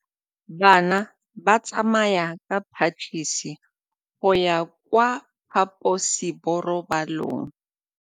Bana ba tsamaya ka phašitshe go ya kwa phaposiborobalong.